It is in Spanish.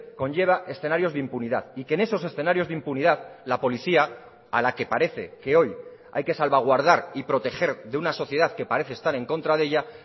conlleva escenarios de impunidad y que en esos escenarios de impunidad la policía a la que parece que hoy hay que salvaguardar y proteger de una sociedad que parece estar en contra de ella